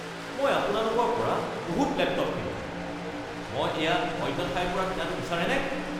মই আপোনালোকৰ পৰা বহুত লেপটপ কিনোঁ। মই এয়া অন্য ঠাইৰ পৰা কিনাটো বিচাৰেনে? (গ্ৰাহক)